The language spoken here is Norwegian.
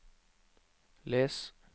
les